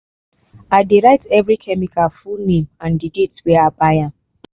i dey write every chemical full name and the date wey i buy am.